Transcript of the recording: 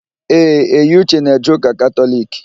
Ee, Eyiuche na-eje ụ́kà Katọliki.